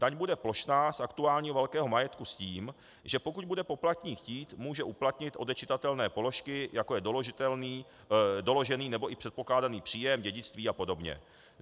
Daň bude plošná z aktuálně velkého majetku s tím, že pokud bude poplatník chtít, může uplatnit odečitatelné položky, jako je doložený nebo i předpokládaný příjem, dědictví a podobně.